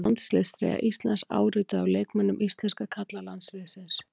Landsliðstreyja Íslands, árituð af leikmönnum íslenska karlalandsliðsins.